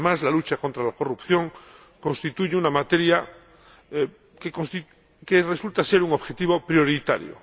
Además, la lucha contra la corrupción constituye una materia que resulta ser un objetivo prioritario.